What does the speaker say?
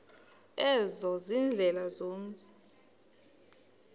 ezo ziindlela zomzi